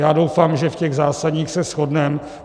Já doufám, že v těch zásadních se shodneme.